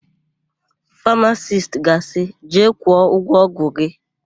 Famasisti ga-asị, "jee kwụọ ụgwọ ọgwụ gị"!